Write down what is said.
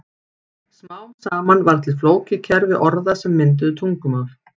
Smám saman varð til flókið kerfi orða sem mynduðu tungumál.